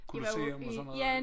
Colosseum og sådan noget